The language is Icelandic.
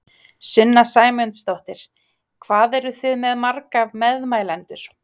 Sunna Sæmundsdóttir: Hvað eruð þið með marga meðmælendur?